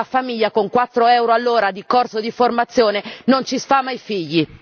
Bene, una famiglia con 4 euro all'ora di corso di formazione non ci sfama i figli.